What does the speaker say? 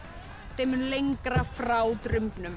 þeim mun lengra frá